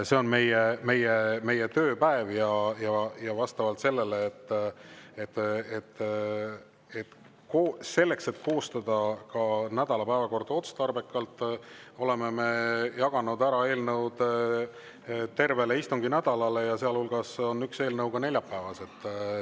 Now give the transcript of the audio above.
See on meie tööpäev ja selleks, et koostada ka nädala päevakorda otstarbekalt, oleme eelnõud ära jaganud tervele istunginädalale, seal hulgas on üks eelnõu neljapäeval.